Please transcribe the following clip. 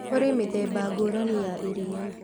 Kũrĩ mĩthemba ngũrani ya iriia